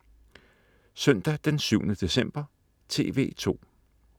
Søndag den 7. december - TV2: